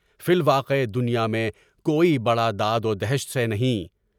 فی الواقع دنیا میں کوئی بڑا داد و دہشت سے نہیں۔